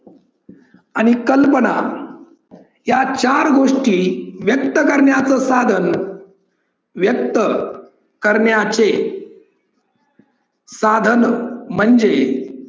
आणि कल्पना या चार गोष्टी व्यक्त करण्याचे साधन व्यक्त करण्याचे साधन म्हणजे